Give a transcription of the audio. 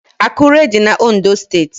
Akure dị na Ondo steeti